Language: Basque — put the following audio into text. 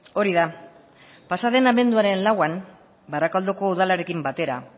hori da pasa den abenduaren lauan barakaldoko udalarekin batera